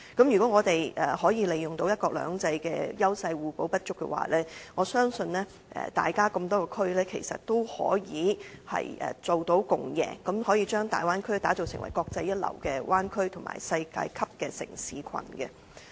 如果我們可以利用"一國兩制"的優勢互補不足，我相信各個地區其實都可以做到共贏，可以將大灣區打造成為國際一流的灣區及世界級的城市群。